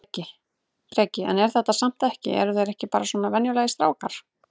Breki: En er þetta samt ekki eru þeir ekki bara svona venjulegir strákar?